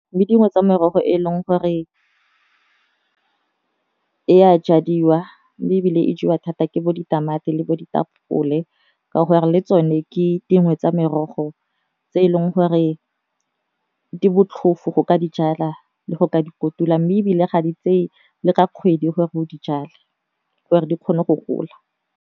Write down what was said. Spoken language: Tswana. Mme dingwe tsa merogo e e leng gore e a jadiwa mme e bile e jewa thata ke bo ditamati le bo ditapole ka gore le tsone ke dingwe tsa merogo tse e leng gore di botlhofo go ka dijala le go ka di kotula, mme e bile ga di tseye le ka kgwedi gore o dijalo gore di kgone go gola.